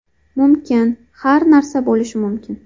Mumkin, har narsa bo‘lishi mumkin.